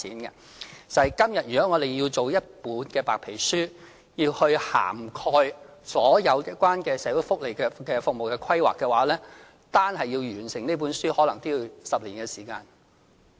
如果今天要制訂一本涵蓋所有有關的社會福利服務規劃的白皮書，單是要完成這本書可能要10年的時間。